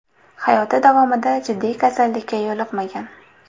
Hayoti davomida jiddiy kasallikka yo‘liqmagan.